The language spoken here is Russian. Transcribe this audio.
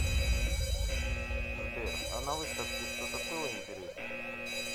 сбер а на выставке что то было интересное